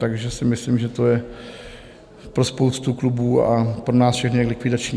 Takže si myslím, že to je pro spoustu klubů a pro nás všechny likvidační.